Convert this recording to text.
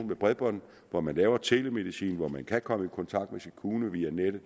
med bredbånd hvor man laver telemedicin og hvor man kan komme i kontakt med sin kommune via nettet